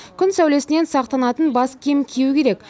күн сәулесінен сақтанатын бас киім кию керек